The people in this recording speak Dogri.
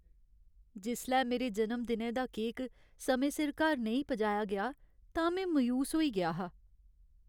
जिसलै मेरे जनम दिनै दा केक समें सिर घर नेईं पजाया गेआ तां में मायूस होई गेआ हा।